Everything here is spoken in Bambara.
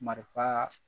Marifa